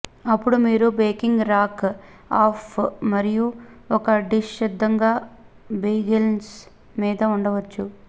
అప్పుడు మీరు baking rack off మరియు ఒక డిష్ సిద్ధంగా బేగెల్స్ మీద ఉంచవచ్చు